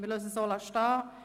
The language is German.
– Wir lassen es so stehen.